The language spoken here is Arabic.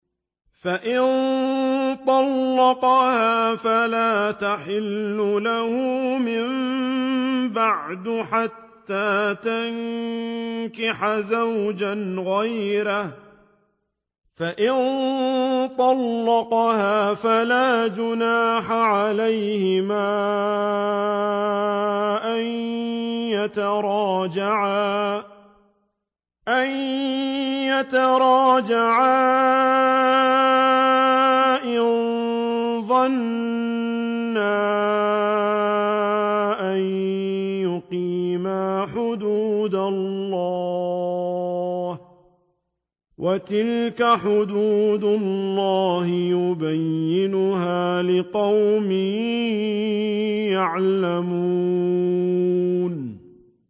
فَإِن طَلَّقَهَا فَلَا تَحِلُّ لَهُ مِن بَعْدُ حَتَّىٰ تَنكِحَ زَوْجًا غَيْرَهُ ۗ فَإِن طَلَّقَهَا فَلَا جُنَاحَ عَلَيْهِمَا أَن يَتَرَاجَعَا إِن ظَنَّا أَن يُقِيمَا حُدُودَ اللَّهِ ۗ وَتِلْكَ حُدُودُ اللَّهِ يُبَيِّنُهَا لِقَوْمٍ يَعْلَمُونَ